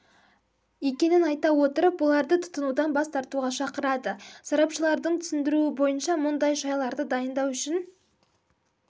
екенін айта отырып оларды тұтынудан бас тартуға шақырады сарапшылардың түсіндіруі бойынша мұндай шайларды дайындау үшін